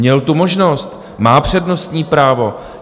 Měl tu možnost, má přednostní právo.